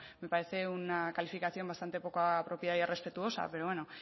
me parece una calificación bastante poco apropiada y respetuosa pero bueno